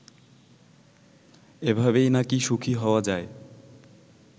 এভাবেই নাকি সুখী হওয়া যায়